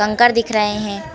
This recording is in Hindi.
कंकड़ दिख रहे हैं।